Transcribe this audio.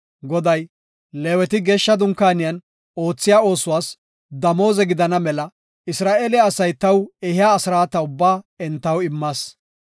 Goday, “Leeweti geeshsha Dunkaaniyan oothiya oosuwas damooze gidana mela Isra7eele asay taw ehiya asraata ubbaa entaw immas.